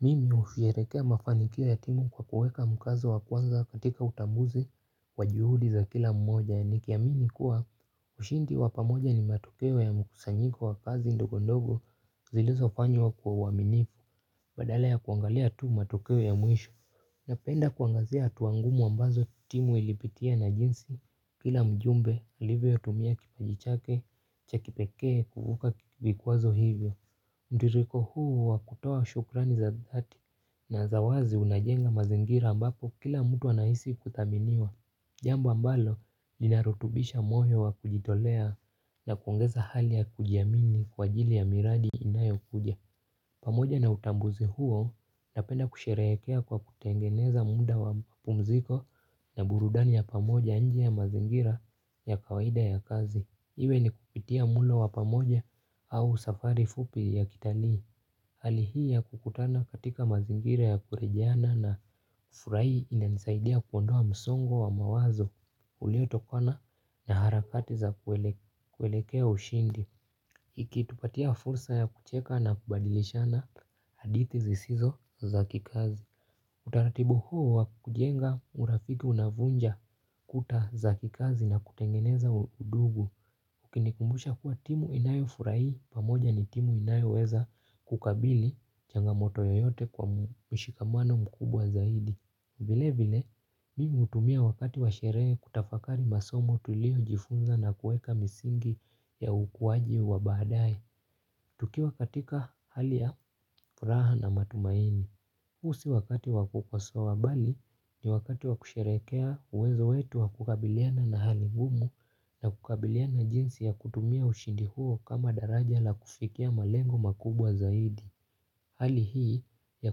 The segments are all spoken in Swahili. Mimi ufierekea mafanikio ya timu kwa kuweka mkazo wa kwanza katika utambuzi wa juhudi za kila mmoja nikiamini kuwa ushindi wa pamoja ni matokeo ya mkusanyiko wa kazi ndogondogo zilizofanywa kwa uaminifu badale ya kuangalia tu matokeo ya mwisho. Napenda kuangazia hatua ngumu ambazo timu ilipitia na jinsi kila mjumbe alivyotumia kipaji chake, cha kipekee, kuvuka vikwazo hivyo. Mtiririko huu wa kutoa shukrani za dhati na za wazi unajenga mazingira ambapo kila mtu anaisi kuthaminiwa. Jambu ambalo linarutubisha moyo wa kujitolea na kuongeza hali ya kujiamini kwa ajili ya miradi inayokuja. Pamoja na utambuzi huo napenda kusherehekea kwa kutengeneza mda wa mapumziko na burudani ya pamoja nje ya mazingira ya kawaida ya kazi. Iwe ni kupitia mulo wa pamoja au safari fupi ya kitalii. Hali hii ya kukutana katika mazingira ya kurejeana na furai inanisaidia kuondoa msongo wa mawazo uliotokona na harakati za kuelekea ushindi. Ikitupatia fursa ya kucheka na kubadilishana hadithi zisizo za kikazi. Utaratibu huo wa kujenga urafiki unavunja kuta za kikazi na kutengeneza udugu. Ukinikumbusha kuwa timu inayofuraii pamoja ni timu inayoweza kukabili changamoto yoyote kwa mshikamano mkubwa zaidi. Vile vile, mi huutumia wakati wa sherehe kutafakari masomo tuliojifunza na kueka misingi ya ukuwaji wa baadae. Tukiwa katika hali ya furaha na matumaini. Uu si wakati wa kukosoa bali ni wakati wa kusherehekea uwezo wetu wa kukabiliana na hali ngumu na kukabiliana jinsi ya kutumia ushindi huo kama daraja la kufikia malengo makubwa zaidi. Hali hii ya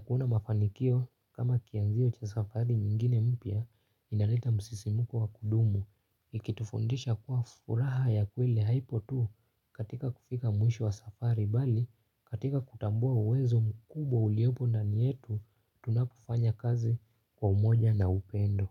kuona mafanikio kama kianzio cha safari nyingine mpya inaleta msisimuko wa kudumu ikitufundisha kuwa furaha ya kweli haipo tu katika kufika mwisho wa safari bali katika kutambua uwezo mkubwa uliopo ndani yetu tunapofanya kazi kwa umoja na upendo.